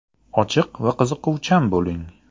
Ochiq va qiziquvchan bo‘ling.